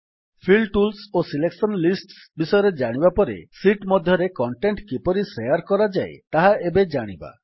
feel tools ଓ selection lists ବିଷୟରେ ଜାଣିବା ପରେ ଶୀଟ୍ ମଧ୍ୟରେ କଣ୍ଟେଣ୍ଟ୍ କିପରି ଶେୟାର୍ କରାଯାଏ ତାହା ଏବେ ଜାଣିବା